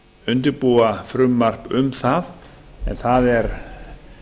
undirbúa frumvarp um það en það er